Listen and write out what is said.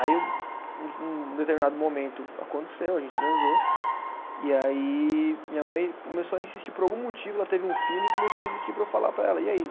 Aí o, um determinado momento aconteceu, a gente transou, e aí minha mãe começou a insistir por algum motivo, ela teve um feeling, e começou a insistir para eu falar para ela, e aí?